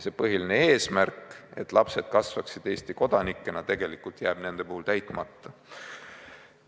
Põhiline eesmärk, et lapsed kasvaksid Eesti kodanikena, jääb nende puhul täitmata.